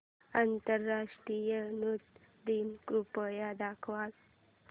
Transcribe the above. आंतरराष्ट्रीय नृत्य दिन कृपया दाखवच